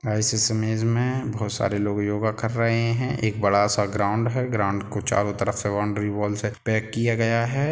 आ इस इमेज मे बहुत सारे लोग योगा कर रहे हैं एक बड़ा सा ग्राउन्ड है ग्राउन्ड को चारों तरफ से बॉउन्डरी वॉल से पैक किया गया है।